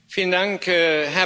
Herr Präsident!